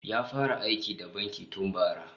Ya fara aiki da banki tun bara